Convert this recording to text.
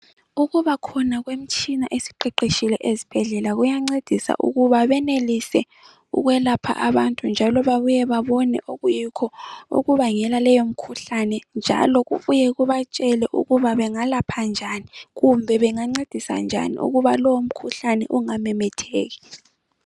Ukubakhona kwemitshini esiqeqetshile ezibhedlela kuyancedisa ukuba benelise ukwelapha abantu njalo babuye babone okuyikho okubangela leyo mikhuhlane njalo kubuye kubatshele ukuba bengalapha njani kumbe bengancedisa njani ukuba lowomkhuhlane ungamemetheki.